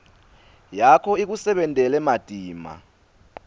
yakho ikusebentele matima